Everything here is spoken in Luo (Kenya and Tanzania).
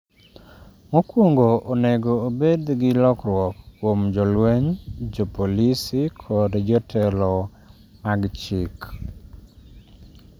""...mokwongo onego obed gi lokruok kuom jolweny, jopolisi kod jotelo mag chik."